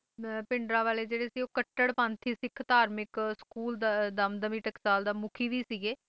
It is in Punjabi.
ਇਹ ਮਤਲਬ ਭਿੰਡਰਾਂਵਾਲੇ ਜਿਹੜੇ ਸੀਗੇ ਉਹ ਕੱਟੜ ਪੰਥੀ ਸਿੱਖ ਧਾਰਮਿਕ ਸਕੂਲ ਦਮਦਮੀ ਟਕਸਾਲ ਦੇ ਮੁਖੀ ਵੀ ਸੀਗੇ